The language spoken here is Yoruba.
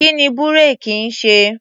Kí ni búréèkì ń ṣe?